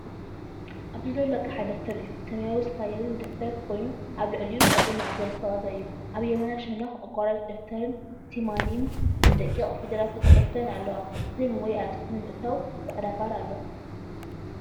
ኣብዚ ዘሎ ኣቕሓ ደፍተር እዩ። ሰማያዊ ስፓይራል ደፍተር ኮይኑ ኣብ ልዕሊኡ ቅርጺ ማዕበል ዝተቐብአ እዩ። ኣብ የማናይ ሸነኽ “ኣቋራጭ ደፍተር”ን “ሲማሊን”ን ብደቂቕ ፊደላት ተጻሒፈን ኣለዋ። ስም ወይ ኣርእስቲ ንምእታው ጻዕዳ ባር ኣሎ።